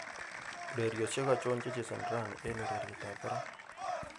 ureryosyek achon chechezoni raini en ureryet ab barak